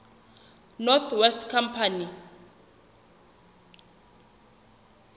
north west company